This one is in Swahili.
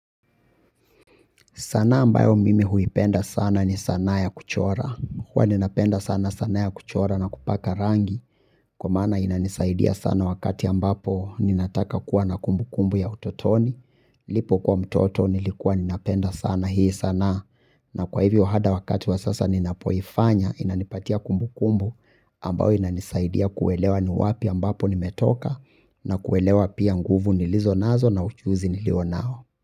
Sanaa ambayo mimi huipenda sana ni sanaa ya kuchora, huwa nina penda sana sanaa ya kuchora na kupaka rangi, kwa maana inanisaidia sana wakati ambapo ninataka kuwa na kumbukumbu ya utotoni, nilipo kua mtoto nilikuwa ninapenda sana hii sanaa, na kwa hivyo hata wakati wa sasa ninapoifanya inanipatia kumbukumbu ambayo inanisaidia kuelewa ni wapi ambapo nimetoka na kuelewa pia nguvu nilizo nazo na ujuzi nilio nao.